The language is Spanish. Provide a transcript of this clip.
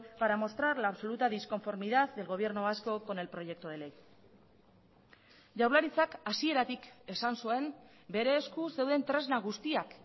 para mostrar la absoluta disconformidad del gobierno vasco con el proyecto de ley jaurlaritzak hasieratik esan zuen bere esku zeuden tresna guztiak